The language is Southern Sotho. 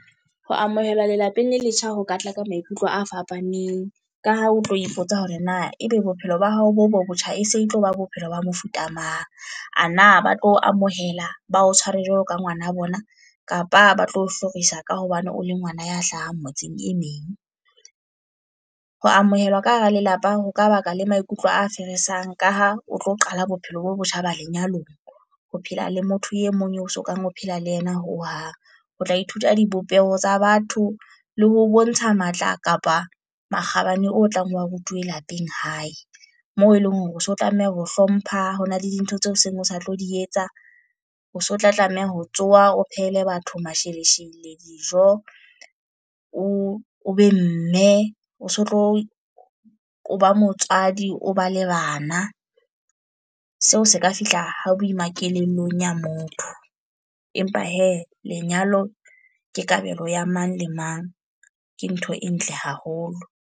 Ho amohelwa lelapeng le letjha ho katla ka maikutlo a fapaneng. Ka ha o tlo ipotsa hore na e be bophelo ba hao bo bo botjha e se e tloba bophelo ba mofuta mang. A na ba tlo amohela ba o tshware jwalo ka ngwana a bona, kapa ba tlo hlorisa ka hobane o le ngwana ya hlahang motseng e meng. Ho amohelwa ka hara lelapa ho ka baka la maikutlo a feresang ka ha o tlo qala bophelo bo botjha ba lenyalong, ho phela le motho e mong eo sokang ho phela le yena ho hang. Ho tla ithuta dipopeho tsa batho le ho bontsha matla kapa makgabane o tlang wa rutuwe lapeng hae. Moo e leng hore o se o tlameha ho hlompha, ho na le dintho tse seng o sa tlo di etsa. O so tla tlameha ho tsoha o phehele batho masheleshele, dijo, o be mme o so tlo o ba motswadi, o ba le bana. Seo se ka fihla ha boima kelellong ya motho. Empa he lenyalo ke kabelo ya mang le mang. Ke ntho e ntle haholo.